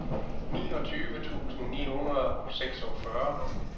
niogtyve tusind ni hundrede og seksogfyrre